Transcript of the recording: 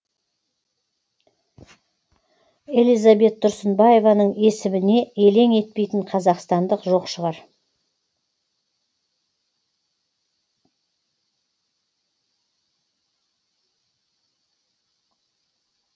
элизабет тұрсынбаеваның есіміне елең етпейтін қазақстандық жоқ шығар